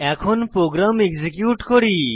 এখন program execute করি